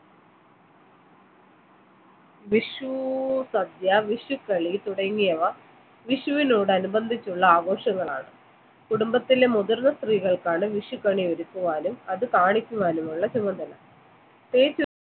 വിഷു സദ്യ വിഷു കളി തുടങ്ങിയവ വിഷുവിനോട് അനുബന്ധിച്ചുള്ള ആഘോഷങ്ങളാണ് കുടുംബത്തിലെ മുതിർന്ന സ്ത്രീകൾക്കാണ് വിഷുക്കണി ഒരുക്കുവാനും അത് കാണിക്കുവാനും ഉള്ള ചുമതല